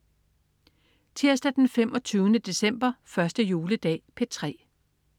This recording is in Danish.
Tirsdag den 25. december. 1. juledag - P3: